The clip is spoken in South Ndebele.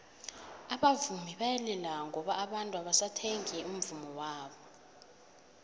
abavumi bayalila ngoba abantu abasathengi umvummo wabo